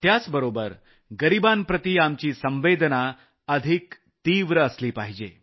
त्याबरोबर गरिबांप्रती आपल्या संवेदना अधिक तीव्र असल्या पाहिजेत